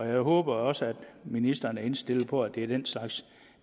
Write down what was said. jeg håber også at ministeren er indstillet på at det er den slags